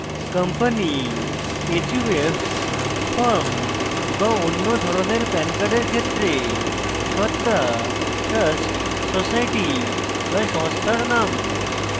company/huf/firm বা any ধরনের pan cards ক্ষেত্রে সত্তা/trust/society/সংস্থার name